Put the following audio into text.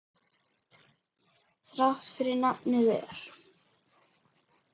Þrátt fyrir nafnið er.